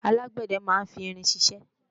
alágbẹ̀dẹ máa ń fi irin ṣiṣẹ́